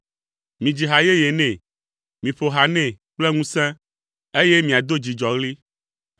Midzi ha yeye nɛ; miƒo ha nɛ kple ŋusẽ, eye míado dzidzɔɣli.